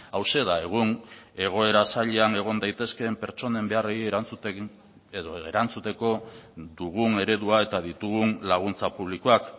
hauxe da egun egoera zailean egon daitezkeen pertsonen beharrei erantzuten edo erantzuteko dugun eredua eta ditugun laguntza publikoak